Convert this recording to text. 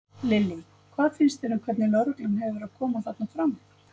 Lillý: Hvað finnst þér um hvernig lögreglan hefur verið að koma þarna fram?